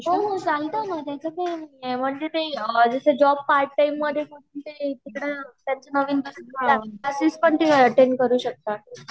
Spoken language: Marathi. हो हो चालते न त्याच काही नाही आहे जस जॉब पार्ट टाइम तसा पण तुम्ही एट्ट्ण्ड करू शकतात